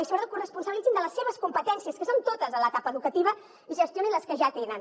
i sobretot corresponsabilitzin se de les seves competències que són totes en l’etapa educativa i gestionin les que ja tenen